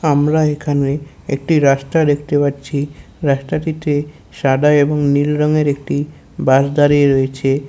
আমরা এখানে একটি রাস্তা দেখতে পাচ্ছি। রাস্তাটিতে সাদা এবং নীল রঙের একটি বাস দাঁড়িয়ে রয়েছে।